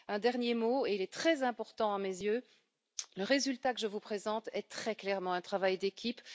Un dernier mot très important à mes yeux le résultat que je vous présente est très clairement un travail d'équipe.